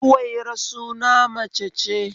Zuwaira suna mace ce